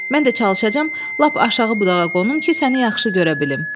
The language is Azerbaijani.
Mən də çalışacağam, lap aşağı budağa qonum ki, səni yaxşı görə bilim.